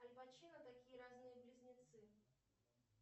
аль пачино такие разные близнецы